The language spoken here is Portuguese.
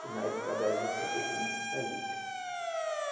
Na época da juta teve muita saída.